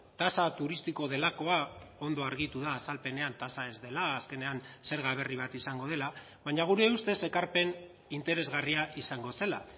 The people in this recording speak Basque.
tasa turistiko delakoa ondo argitu da azalpenean tasa ez dela azkenean zerga berri bat izango dela baina gure ustez ekarpen interesgarria izango zela